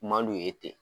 Man d'u ye ten